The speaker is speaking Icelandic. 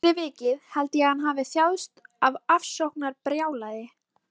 Fyrir vikið held ég að hann hafi þjáðst af ofsóknarbrjálæði.